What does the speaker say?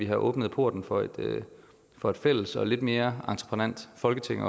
har åbnet porten for et for et fælles og lidt mere entreprenant folketing